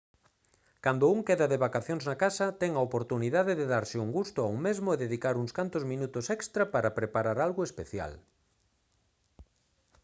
cando un queda de vacacións na casa ten a oportunidade de darse un gusto a un mesmo e dedicar uns cantos minutos extra para preparar algo especial